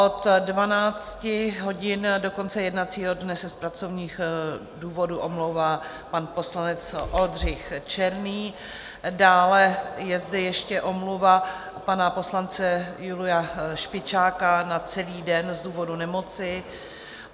Od 12 hodin do konce jednacího dne se z pracovních důvodů omlouvá pan poslanec Oldřich Černý, dále je zde ještě omluva pana poslance Julia Špičáka na celý den z důvodu nemoci.